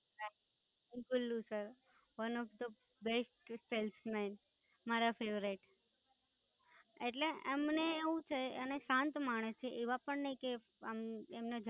Right. Gullu sir, One of the best salesmen. મારા Favorite. એટલે એમને એવું છે, એને શાંત માણસ છે એવા પણ નહીં કે આમ એમને જરાય